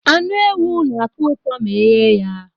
Anụ ewu na-atọ ụtọ ma eghe ya